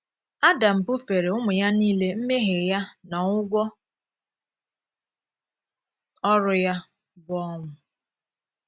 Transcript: Adam bufeere ụmụ ya niile mmèhíè ya na ụgwọ òrụ̀ ya, bụ́ ọnwụ́.